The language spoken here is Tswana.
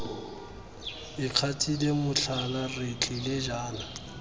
ikgatile motlhala re tlile jaana